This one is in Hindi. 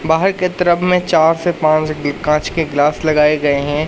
बाहर के तरफ में चार से पांच कांच के ग्लास लगाए गए है।